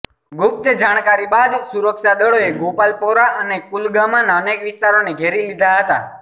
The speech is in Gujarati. ગુપ્ત જાણકારી બાદ સુરક્ષાદળોએ ગોપાલપોરા અને કુલગામાના અનેક વિસ્તારોને ઘેરી લીધા હતા